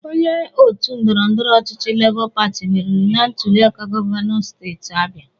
Onye otu ndọrọndọrọ ọchịchị labọ pati meriri na ntuliaka govanọ steeti Abia.